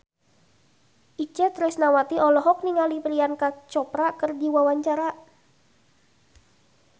Itje Tresnawati olohok ningali Priyanka Chopra keur diwawancara